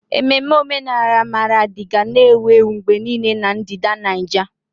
Ememme omenala Maradi ga na-ewu ewu mgbe niile na ndịda Nijia.